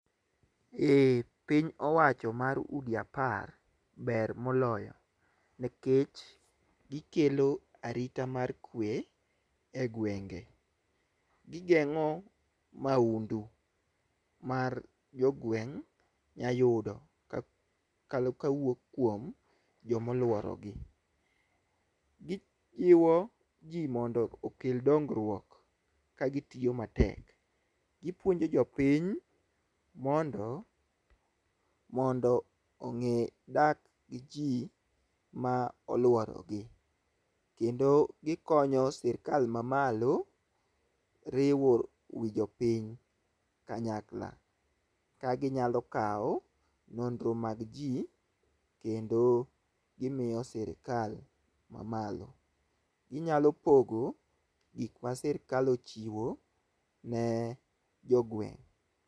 Eeeh Piny owacho mar udi apar moloyo nikech gikelo arita maber egwenge, gigeng'o maundu mar jogeng' nyalo yudo kawuok kuom jomoluoro. Gi jiwo jii mondo kel dongruok ka gitiyo matek . Gipuonjo jopiny mondo mondo ong'e dak gi jii moluoro gi kendo, gikonyo sirikal mamalo riwo wiii jopiny kanyakla ka ginyalo kawo nonro mag jii kendo gimiyo sirikal mamalo. Ginyalo pogo gik ma sirikal ochiwo ne jogweng'.